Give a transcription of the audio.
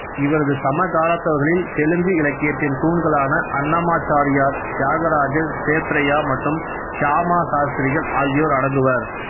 இவரது சமகாலத்தவர்களில் தெலுங்கு இலக்கியத்தின் தூண்களான அன்னமாச்சாரியார் தியாகராஜர் சேத்ரய்யா மற்றும் சியாமா சாஸ்திரிகள் ஆகியோர் அடங்குவர்